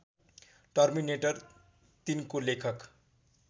terminator ३ को लेखक